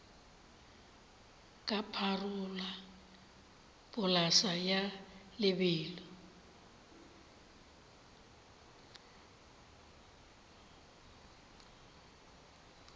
ka pharola polase ya lebelo